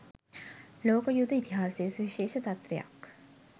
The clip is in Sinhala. ලෝක යුධ ඉතිහාසයේ සුවිශේෂ තත්වයක්